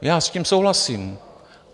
Já s tím souhlasím.